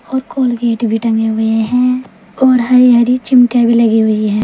और कोलगेट भी टंगे हुए हैं और हरी हरी चिमटियां भी लगी हुई हैं।